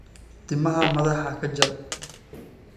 Timaha madaxa ka jar.